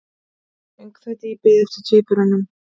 Öngþveiti í bið eftir tvíburunum